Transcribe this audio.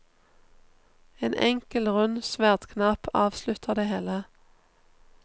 En enkel, rund sverdknapp avslutter det hele.